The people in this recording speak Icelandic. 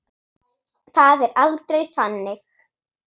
Það er aldrei þannig.